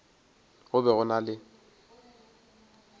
go be go na le